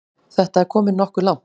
Þetta er komið nokkuð langt.